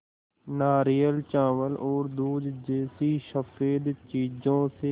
नारियल चावल और दूध जैसी स़फेद चीज़ों से